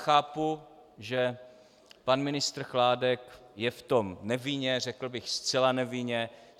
Chápu, že pan ministr Chládek je v tom nevinně, řekl bych zcela nevinně.